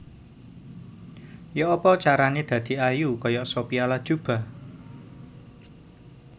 Yo'opo carane dadi ayu koyok Sophia Latjuba?